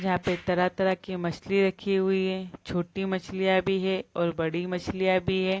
यहाँ पे तरह-तरह की मछली रखी हुई हैं छोटी मछलियाँ भी हैं बड़ी मछलियाँ भी हैं।